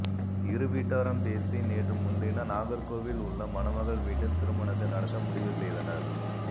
இரு வீட்டாரும் பேசி நேற்று முன்தினம் நாகர்கோவில் உள்ள மணமகள் வீட்டில் திருமணத்தை நடத்த முடிவு செய்தனர்